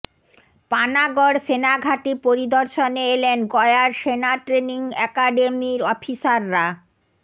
পানাগড় সেনাঘাঁটি পরিদর্শনে এলেন গয়ার সেনা ট্রেনিং অ্যাকাডেমির অফিসাররা